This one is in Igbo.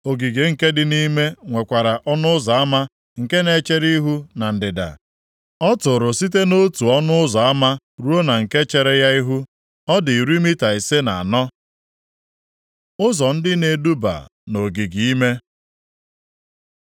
Ogige nke dị nʼime, nwekwara ọnụ ụzọ ama nke na-echere ihu na ndịda. Ọ tụrụ site nʼotu ọnụ ụzọ ama ruo na nke chere ya ihu, ọ dị iri mita ise na anọ. Ụzọ ndị na-eduba nʼogige ime